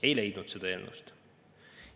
Ei leidnud seda eelnõust.